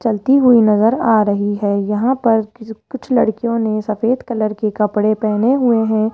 चलती हुई नजर आ रही है यहां पर किसी कुछ लड़कियों ने सफेद कलर के कपड़े पहने हुए हैं।